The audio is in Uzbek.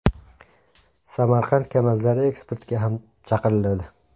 Samarqand KAMAZlari eksportga ham chiqariladi.